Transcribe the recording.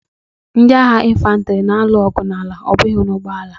Ndị agha infantri na-alụ ọgụ n'ala, ọ bụghị n'ụgbọala.